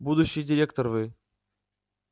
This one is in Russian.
будущий директор вы